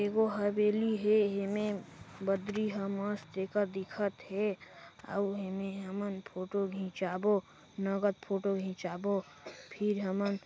ए गो हवेली हे एमे बदरी ह मस्त एका दिखत हे अऊ एमे हमन फोटो खिचाबो नगद फोटो खिचाबो फिर हमन--